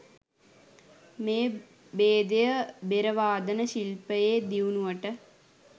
මේ බේදය බෙර වාදන ශිල්පයේ දියුණුවට